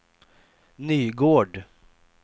Nygård